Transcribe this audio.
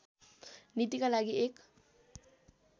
नीतिका लागि एक